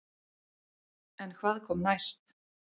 En hvað kom næst?